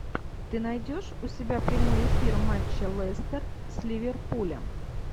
ты найдешь у себя прямой эфир матча лестер с ливерпулем